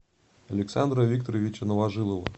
александра викторовича новожилова